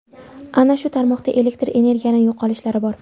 Ana shu tarmoqda elektr energiyani yo‘qolishlari bor.